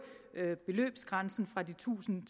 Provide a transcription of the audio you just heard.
beløbsgrænsen fra de tusind